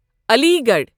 Ali Garh